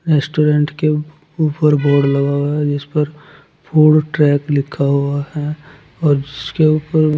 restaurant के ऊ ऊपर बोर्ड लगा हुआ है जिस पर फूड ट्रैक लिखा हुआ है और उसके ऊपर--